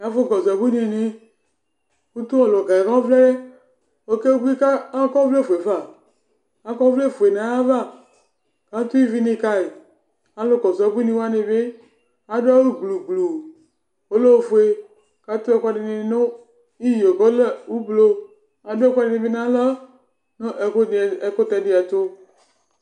Ɛfʋkɔsʋ abuinɩnɩ kʋ tʋ ɔlʋka yɛ kʋ ɔvlɛ yɛ, ɔkebui kʋ akɔ ɔvlɛfue fa Akɔ ɔvlɛfue nʋ ayava kʋ atʋ ivinɩ ka yɩ Alʋkɔsʋ abuinɩ wanɩ bɩ adʋ awʋ gblu gblu, ɔlɛ ofue kʋ atʋ ɛkʋɛdɩnɩ nʋ iyo kʋ ɔlɛ ʋblo Adʋ ɛkʋɛdɩnɩ bɩ nʋ aɣla nʋ ɛkʋ ɛkʋtɛ dɩ ɛtʋ